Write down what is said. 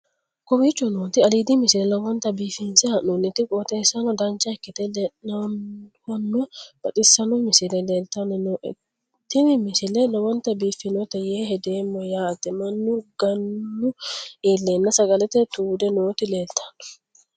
kowicho nooti aliidi misile lowonta biifinse haa'noonniti qooxeessano dancha ikkite la'annohano baxissanno misile leeltanni nooe ini misile lowonta biifffinnote yee hedeemmo yaate mannu gannu iilleenna sagalete tuude noti leeltanno